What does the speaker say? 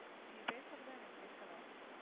நீங்க பேசறதே எனக்கு கேட்கலை